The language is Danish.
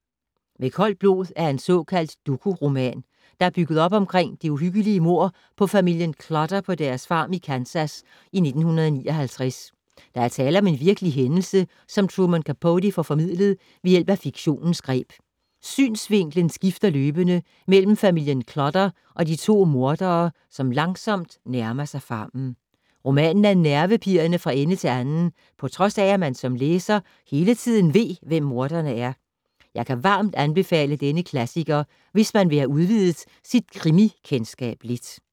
Med koldt blod er en såkaldt doku-roman, der er bygget op omkring det uhyggelige mord på familien Clutter på deres farm i Kansas i 1959. Der er tale om en virkelig hændelse som Truman Capote får formidlet ved hjælp af fiktionens greb. Synsvinklen skifter løbende mellem familien Clutter og de to mordere, som langsomt nærmer sig farmen. Romanen er nervepirrende fra ende til anden, på trods af, at man som læser hele tiden ved, hvem morderne er. Jeg kan varmt anbefale denne klassiker, hvis man vil have udvidet sit krimi-kendskab lidt.